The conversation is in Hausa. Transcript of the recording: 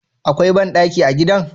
Akwai bandaki a gidan?